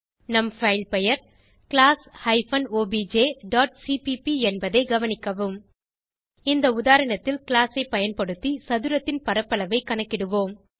நம் பைல் பெயர் class hyphen obj dot CPP என்பதை கவனிக்கவும் இந்த உதாரணத்தில் கிளாஸ் ஐ பயன்படுத்தி சதுரத்தின் பரப்பளவை கணக்கிடுவோம்